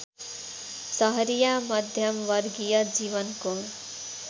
सहरिया मध्यमवर्गीय जीवनको